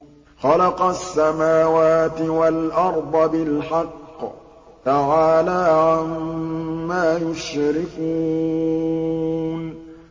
خَلَقَ السَّمَاوَاتِ وَالْأَرْضَ بِالْحَقِّ ۚ تَعَالَىٰ عَمَّا يُشْرِكُونَ